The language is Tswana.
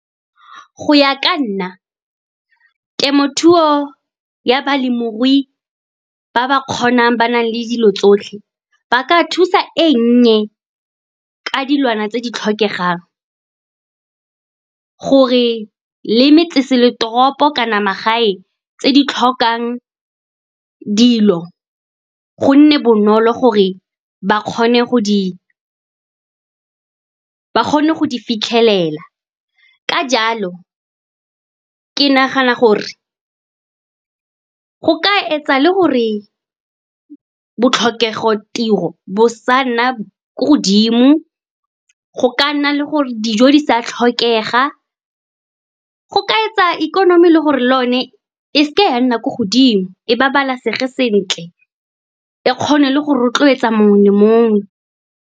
Go ya ka nna, temothuo ya balemirui ba ba kgonang, ba na le dilo tsotlhe, ba ka thusa e nnye ka dilwana tse di tlhokegang gore le kana magae tse di tlhokang dilo. Gonne bonolo gore ba kgone go di fitlhelela. Ka jalo, ke nagana gore go ka etsa le gore botlhokego tiro bo sa nna ko godimo, go ka nna le gore dijo di sa tlhokega, go ka etsa ikonomi le gore le yone e seke ya nna ko godimo, e babalesege sentle, e kgone le go rotloetsa mongwe le mongwe.